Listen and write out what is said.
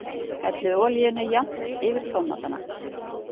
Hellið olíunni jafnt yfir tómatana.